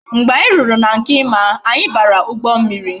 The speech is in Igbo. Mgbe anyi ruru na nke Emma anya bara ugbo mmiri